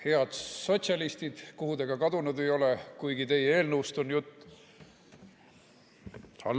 Head sotsialistid, kuhu te ka kadunud ei ole, kuigi teie eelnõust on jutt!